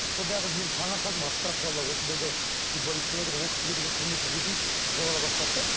сондағы мен таңырқадым осындай да футболист болады ол кісіге деген құрмет ізетім жоғала бастады да